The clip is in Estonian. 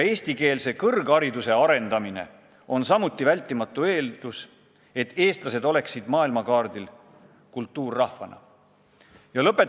Eestikeelse kõrghariduse arendamine on omakorda vältimatu eeldus sellele, et eestlased oleksid kultuurrahvana maailmakaardil.